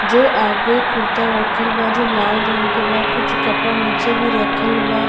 जो आगे कुर्ता रखल बा जो लाल रंग के बा कुछ कपड़ा नीचे भी रखल बा --